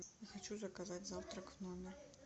хочу заказать завтрак в номер